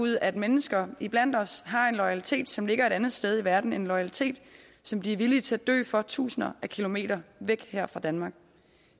ud at mennesker iblandt os har en loyalitet som ligger et andet sted i verden en loyalitet som de er villige til at dø for tusinder af kilometer væk fra danmark